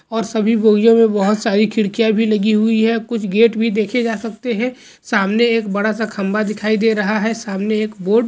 और सभी बोगियों में बहुत सारी खिड़कियां भी लगी हुई है कुछ गेट भी देखे जा सकते हैं सामने एक बड़ा सा खंभा दिखाई दे रहा हैसामने एक बोर्ड --